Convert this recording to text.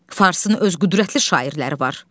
Farsın öz qüdrətli şairləri var.